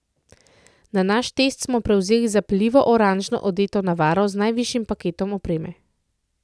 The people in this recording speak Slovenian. Na naš test smo prevzeli zapeljivo oranžno odeto navaro z najvišjim paketom opreme.